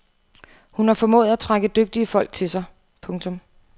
Hun har formået at trække dygtige folk til sig. punktum